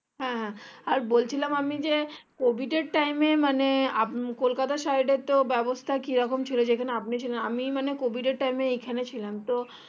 হ্যাঁ আর বলছিলাম আমি যে COVID এর time এ মানে কলকাতা side এর তো ব্যবস্থা যেখানে আপনি ছিলেন আমি মানে COVID এর time এ এখানে ছিলাম তো